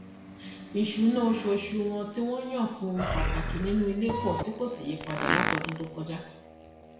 ìṣúná oṣooṣù wọn tí wọn yàn fún ohun pàtàkì inú ilé pọ tí kò sì yípadà láti ọdún tó kọjá